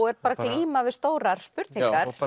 er bara að glíma við stórar spurningar